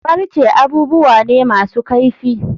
Farce abubuwa ne masu kaifi.